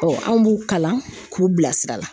an b'u kalan k'u bilasira la.